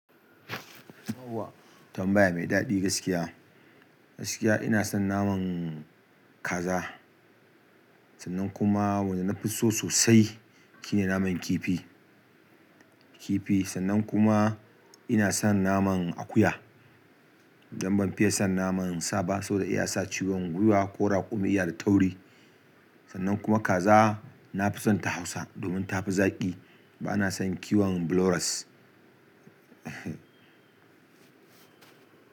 Yauwa tambaya mai daɗi gaskiya. Gaskiya ina son naman kaza sannan kuma wanda na fi so sosai shine naman kifi, kifi sannan kuma ina son naman akuya. Dan ban fiye son naman sa ba saboda iya sa ciwon gwiwa ko raƙumi iya da tauri. Sannan kuma kaza na fi son ta hausa domin ta fi zaƙi bana son kiwon buloras.